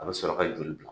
A bɛ sɔrɔ ka joli bila